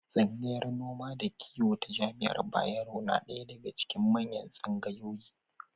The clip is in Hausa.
Tsangayar noma da kiwo ta jami'ar Bayero na ɗaya daga cikin manyan tsangayoyi.